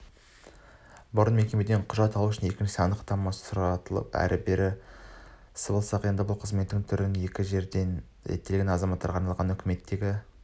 бұрын мекемеден құжат алу үшін екіншісінен анықтама сұратылып әрі-бері сабылсақ енді бұл қызметтің екі түрі бір жерден реттеледі азаматтарға арналған үкіметтегі